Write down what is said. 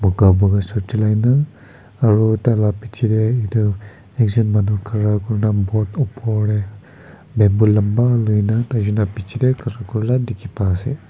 puka shirt chulaina aro taila bechey tey etu ekjun manu khara kurina boat opor tey bamboo lamba loina tai jun la bechey tey khara kurala dekhi pa ase.